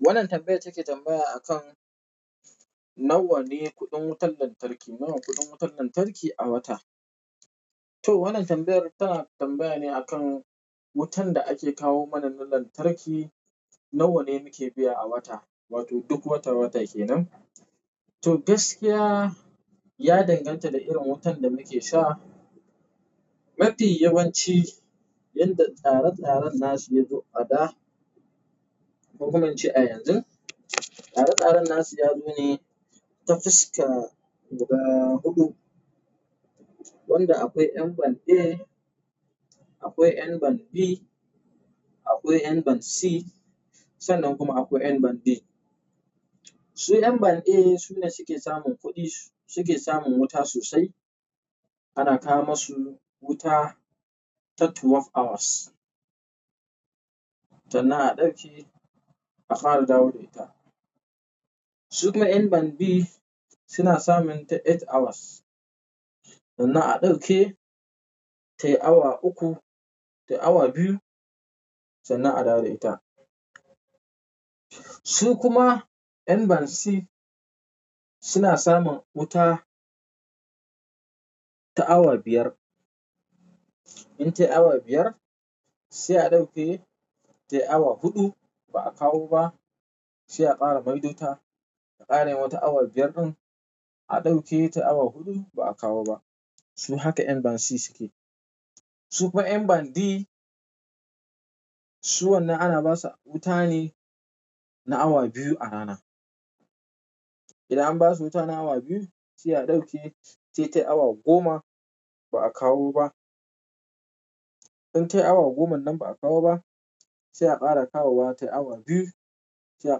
Wannan tambayar take tambaya akan nawa ne kuɗin wutar lantarki, nawa kuɗin wutar lantarki a wata. To wannan tambayar tana tambaya ne akan wutan da ake kawo mana na lantarki nawa ne muke biya a wata, wato duk wata wata ke nan. To gaskiya ya danganta da irin wutan da muke sha. Mafi yawanci yadda tsare tsaren nasu yazo a da, kokuma in ce a yanzu, tsare tsaren nasu yazo ne ta fuska guda huɗu, wanda akwai ƴan band A, akwai ƴan band B, akwai ƴan band C sannan kuma akwai ƴan band D. Su ƴan band A sune suke samun kuɗin, suke samun wuta sosai ana kawo masu wuta ta twelve hours, sannan a ɗauke a ƙara dawo da ita. Sukuma ƴan band B suna samun ta eight hours, sannan a ɗauke tayi awa uku da awa biyu sannan a dawo da ita. Su kuma N ban C suna samun wuta ta awa biyar. In tayi awa biyar, sai a ɗauke ta awa huɗu ba a kawo ba, sai a ƙara maido ta, a ƙara yin wata awa biyar ɗin, a ɗauke ta awa huɗu ba a kawo ba. Su haka N ban C suke. Sukuma ƴan band D su wannan ana ba su wuta ne na awa biyu a rana. Idan an ba su wuta na awa biyu, sai a ɗauke sai tayi awa goma ba a kawo ba. In tayi awa goma nan ba a kawo ba, sai a ƙara kawowa tayi awa biyu, sai a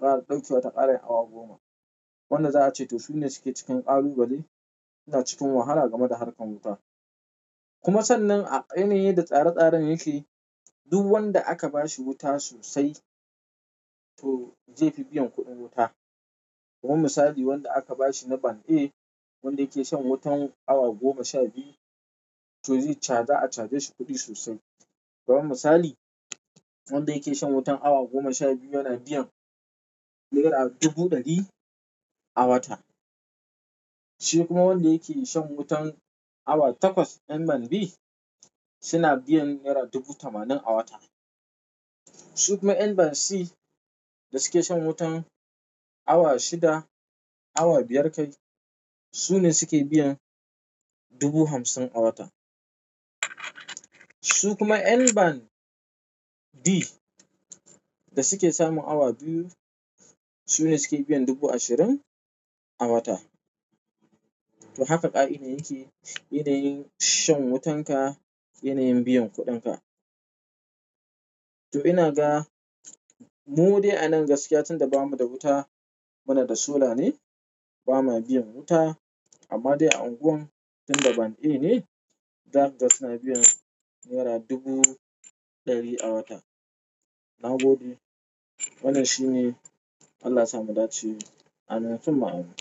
ƙara ɗauke wa ta ƙara yin awa goma. Wannan za a ce to su ne suke cikin ƙalubale, suna cikin wahala game da harkar wuta. Kuma sannan a, yanayin yadda tsare tsaren yake, duk wanda aka ba shi wuta sosai to zai fi biyan kuɗin wuta. Kuma misali wanda aka ba shi na band A wanda yake shan wutan awa goma sha biyu to zai caza a caje shi kuɗi sosai. Kuma misali wanda yake shan wutan awa goma sha biyu yana biyan naira dubu ɗari a wata. Shi kuma wanda yake shan wutan awa takwas ƴan band B suna biyan naira dubu tamanin a wata. Sukuma ƴan band C da suke shan wutan awa shida, awa biyar kai su ne suke biyan dubu hamsin a wata. Su kuma ƴan band D da suke samun awa biyu su ne suke biyan dubu ashirin a wata. To haka ƙa'idoji yanayin shan wutan ka, i yanayin biyan kuɗin ka. To ina ga mu dai a nan gaskiya tunda bamu da wuta muna da solar ne, ba ma biyan wuta amma dai a unguwan tunda band A ne zaka ga suna biyan naira dubu ɗari a wata. Nagode, wannan shine, Allah yasa mu dace Amin. Sunma Amin.